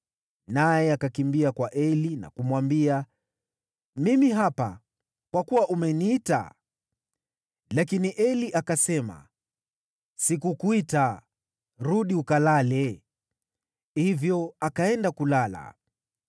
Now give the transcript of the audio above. Naye akakimbia kwa Eli na kumwambia, “Mimi hapa, kwa kuwa umeniita.” Lakini Eli akasema, “Sikukuita; rudi ukalale.” Hivyo akaenda kulala.